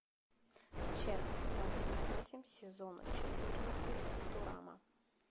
часть двадцать восемь сезона четырнадцать футурама